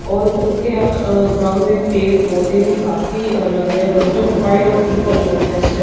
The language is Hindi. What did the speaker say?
और उनके अ ग्राउंड में पेड़ पौधे भी काफी अलग है बच्चों ने व्हाइट और पिंक कलर की ड्रेस --